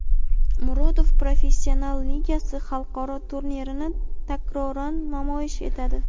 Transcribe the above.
"Murodov Professional Ligasi" xalqaro turnirini takroran namoyish etadi.